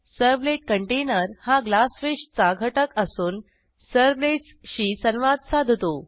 servlet container हा Glassfishचा घटक असून सर्व्हलेट्स शी संवाद साधतो